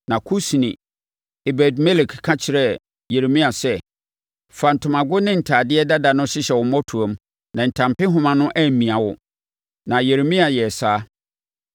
Na Kusni, Ebed-Melek ka kyerɛɛ Yeremia sɛ, “Fa ntomago ne ntadeɛ dada no hyehyɛ wo mmɔtoam, na ntampehoma no ammia wo.” Na Yeremia yɛɛ saa,